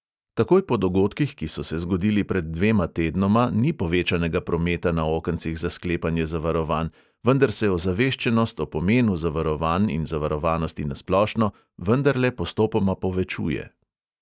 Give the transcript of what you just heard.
Takoj po dogodkih, ki so se zgodili pred dvema tednoma, ni povečanega prometa na okencih za sklepanje zavarovanj, vendar se ozaveščenost o pomenu zavarovanj in zavarovanosti na splošno vendarle postopoma povečuje.